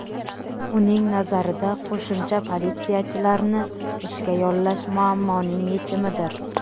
Uning nazarida, qo‘shimcha politsiyachilarni ishga yollash muammoning yechimidir.